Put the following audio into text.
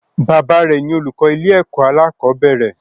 Baba rẹ ni olùkọ ilé ẹkọ alakobere.